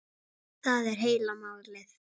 Það er heila málið!